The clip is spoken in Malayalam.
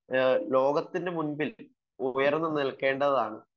ഒക്കത്തു മുന്നിൽ ഉയർന്നു നിൽക്കേണ്ടതാണ്